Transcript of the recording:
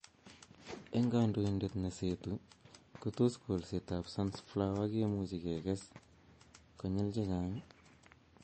Eng kabatindet ne seetu kotos kolsetab sunflower kemuchi kekes konyil checha'ng?